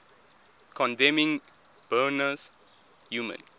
condemning burma's human